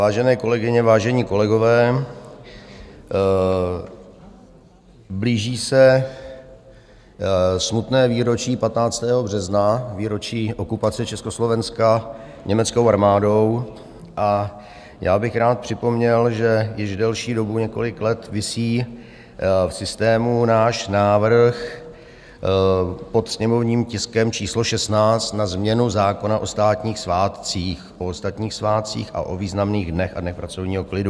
Vážené kolegyně, vážení kolegové, blíží se smutné výročí 15. března, výročí okupace Československa německou armádou, a já bych rád připomněl, že již delší dobu, několik let, visí v systému náš návrh pod sněmovním tiskem číslo 16 na změnu zákona o státních svátcích, o ostatních svátcích a o významných dnech a dnech pracovního klidu.